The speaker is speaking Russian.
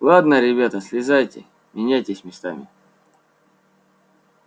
ладно ребята слезайте меняйтесь местами